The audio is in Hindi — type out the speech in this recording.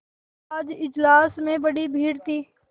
आज इजलास में बड़ी भीड़ थी